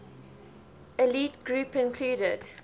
elite group included